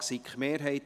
Antrag SiK-Mehrheit